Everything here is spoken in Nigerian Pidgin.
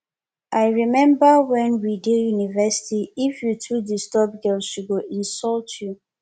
i rememba wen we dey university if you too disturb girl she go insult you